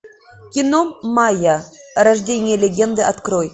кино майя рождение легенды открой